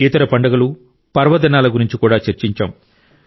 ఇతర పండుగలు పర్వదినాల గురించి కూడా చర్చించాం